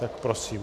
Tak prosím.